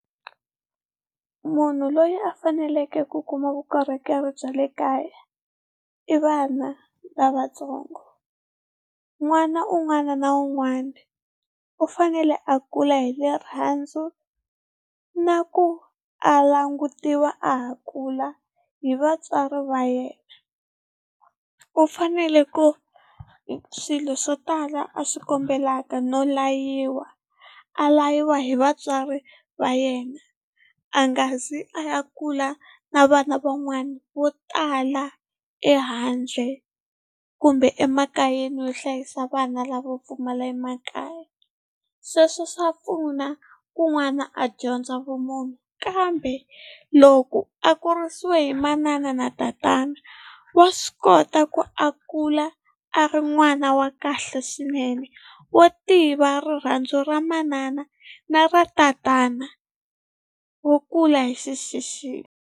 Munhu loyi a faneleke ku kuma vukorhokeri bya le kaya i vana lavatsongo. N'wana un'wana na un'wana u fanele a kula hi rirhandzu na ku a langutiwa a ha kula hi vatswari va yena, u fanele ku swilo swo tala a swi kombelaka no layiwa a layiwa hi vatswari va yena a nga zi a ya kula na vana van'wana vo tala ehandle kumbe emakayeni yo hlayisa vana lavo pfumala emakaya, sweswo swa pfuna kun'wana a dyondza vumunhu. Kambe loko a kurisiwa hi manana na tatana wa swi kota ku a kula a ri n'wana wa kahle swinene wo tiva rirhandzu ra manana na ra tatana wo kula hi .